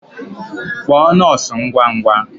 Kpọọ nọọsụ ngwa ngwa!